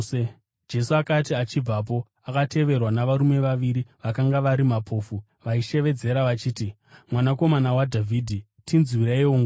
Jesu akati achibvapo, akateverwa navarume vaviri vakanga vari mapofu, vaishevedzera vachiti, “Mwanakomana waDhavhidhi, tinzwireiwo ngoni!”